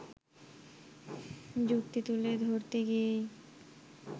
যুক্তি তুলে ধরতে গিয়েই